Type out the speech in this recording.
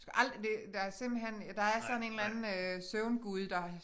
Du skal aldrig det der simpelthen der er sådan en eller anden øh søvngud der